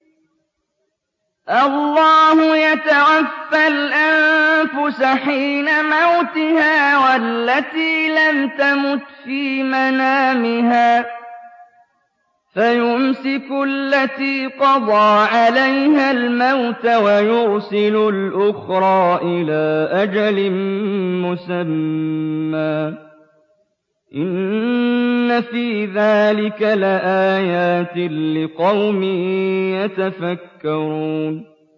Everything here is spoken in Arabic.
اللَّهُ يَتَوَفَّى الْأَنفُسَ حِينَ مَوْتِهَا وَالَّتِي لَمْ تَمُتْ فِي مَنَامِهَا ۖ فَيُمْسِكُ الَّتِي قَضَىٰ عَلَيْهَا الْمَوْتَ وَيُرْسِلُ الْأُخْرَىٰ إِلَىٰ أَجَلٍ مُّسَمًّى ۚ إِنَّ فِي ذَٰلِكَ لَآيَاتٍ لِّقَوْمٍ يَتَفَكَّرُونَ